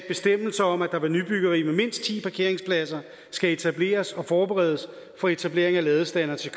bestemmelser om at der ved nybyggeri med mindst ti parkeringspladser skal etableres og forberedes for etablering af ladestandere til